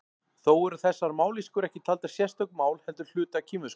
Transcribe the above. Þó eru þessar mállýskur ekki taldar sérstök mál heldur hluti af kínversku.